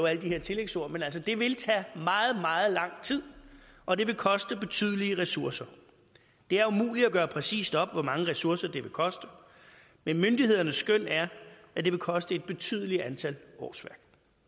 alle de her tillægsord men det vil tage meget meget lang tid og det vil koste betydelige ressourcer det er umuligt at gøre præcist op hvor mange ressourcer det vil koste men myndighedernes skøn er at det vil koste et betydeligt antal årsværk